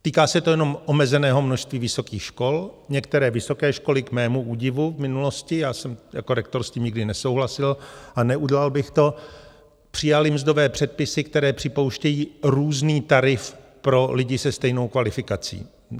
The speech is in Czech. Týká se to jenom omezeného množství vysokých škol, některé vysoké školy - k mému údivu v minulosti, já jsem jako rektor s tím nikdy nesouhlasil a neudělal bych to - přijaly mzdové předpisy, které připouštějí různý tarif pro lidi se stejnou kvalifikací.